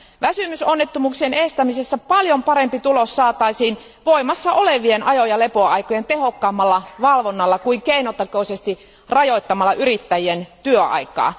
Väsymysonnettomuuksien estämisessä paljon parempi tulos saataisiin voimassa olevien ajo ja lepoaikojen tehokkaammalla valvonnalla kuin keinotekoisesti rajoittamalla yrittäjien työaikaa.